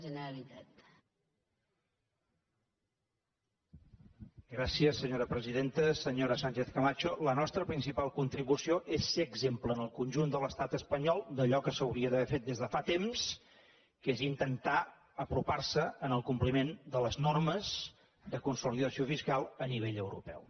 senyora sánchez camacho la nostra principal contribució és ser exemple en el conjunt de l’estat espanyol d’allò que s’hauria d’haver fet des de fa temps que és intentar apropar se en el compliment de les normes de consolidació fiscal a nivell europeu